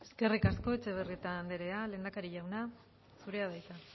eskerrik asko etxebarrieta andrea lehendakari jauna zurea da hitza